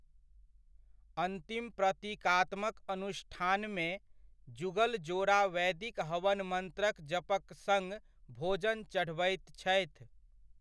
अन्तिम प्रतीकात्मक अनुष्ठानमे, जुगल जोड़ा वैदिक हवन मंत्रक जपक सङ्ग भोजन चढ़बैत छथि।